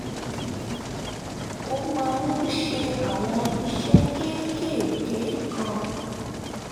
mo máa ń ṣe àwọn iṣẹ́ kéékèèké kan